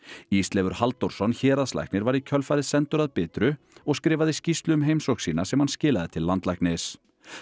Ísleifur Halldórsson héraðslæknir var í kjölfarið sendur að Bitru og skrifaði skýrslu um heimsókn sína sem hann skilaði til landlæknis